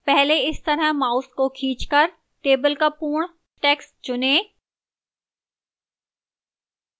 पहले इस तरह mouse को खींचकर table का पूर्ण text चुनें